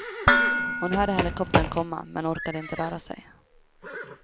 Hon hörde helikoptern komma, men orkade inte röra sig.